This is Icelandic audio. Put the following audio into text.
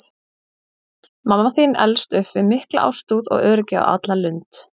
Mamma þín elst upp við mikla ástúð og öryggi á alla lund.